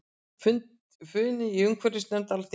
Funi í umhverfisnefnd Alþingis